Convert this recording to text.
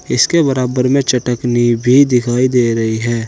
इसके बराबर में चटकनी भी दिखाई दे रही है।